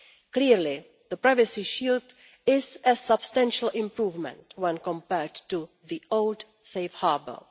Clearly the privacy shield is a substantial improvement when compared to the old safe harbour.